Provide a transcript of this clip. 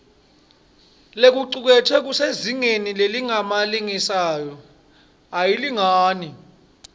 lokucuketfwe kusezingeni lelingemalengisoisomayelana